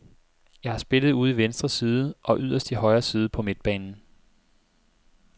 Jeg har spillet ude i venstre side og yderst i højre side på midtbanen.